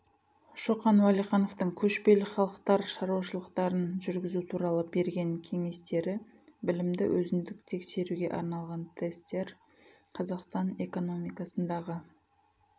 шоқан уәлихановтың көшпелі халықтар шаруашылықтарын жүргізу туралы берген кеңестері білімді өзіндік тексеруге арналған тестер қазақстан экономикасындағы